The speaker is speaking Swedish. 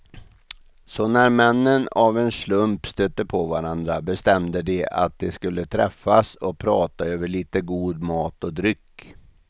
Så när männen av en slump stötte på varandra bestämde de att de skulle träffas och prata över lite god mat och dryck.